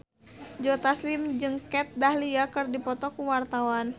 Joe Taslim jeung Kat Dahlia keur dipoto ku wartawan